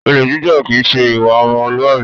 Olè jíjà kìí ṣe ìwà ọmọlúàbí